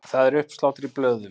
Það er uppsláttur í blöðum.